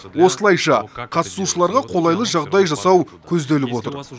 осылайша қатысушыларға қолайлы жағдай жасау көзделіп отыр